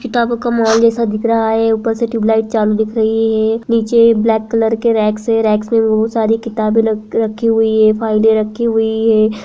किताबों का मॉल जैसा दिख रहा है ऊपर से ट्यूबलाइट चालू दिख रही है नीचे ब्लैक कलर के रैक्स हैं रैक्स में बहोत सारी किताबे र-रख रखी हुई हैं फाइले रखी हुई हैं।